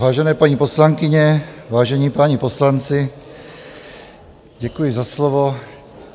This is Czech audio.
Vážené, paní poslankyně, vážení páni poslanci, děkuji za slovo.